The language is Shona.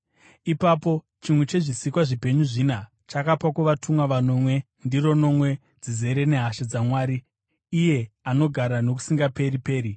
Ipapo chimwe chezvisikwa zvipenyu zvina chakapa kuvatumwa vanomwe ndiro nomwe dzizere nehasha dzaMwari, iye anogara nokusingaperi-peri.